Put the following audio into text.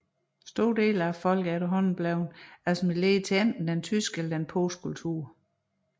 Store dele af folket er efterhånden blevet assimileret til enten den tyske eller polske kultur